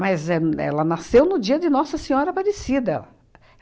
éh ela nasceu no dia de Nossa Senhora Aparecida.